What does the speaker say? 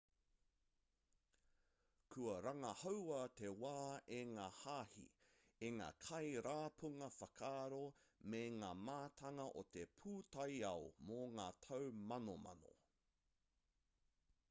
kua rangahaua te wā e ngā hāhi e ngā kai rapunga whakaaro me ngā mātanga o te pūtaiao mō ngā tau manomano